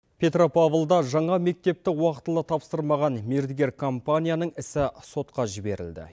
петропавлда жаңа мектепті уақытылы тапсырмаған мердігер компанияның ісі сотқа жіберілді